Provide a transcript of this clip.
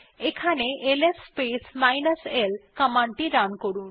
এখান LS minus l command টি run করুন